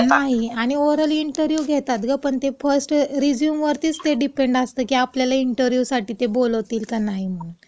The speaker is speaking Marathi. नाही, आणि ओरल इंटरवयू तर घेतातच गं, पण फर्स्ट रिझ्यूमवरतीच ते डिपेंडंट असतं, की आपल्याला इंटरव्यूला ते बोलवतील का नाही म्हणून.